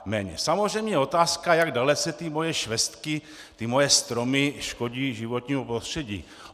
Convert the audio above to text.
Samozřejmě je otázka, jak dalece ty moje švestky, ty moje stromy, škodí životnímu prostředí.